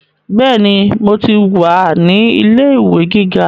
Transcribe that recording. Bẹ́ẹ̀ni, mo ti wà ní ilé ìwé gíga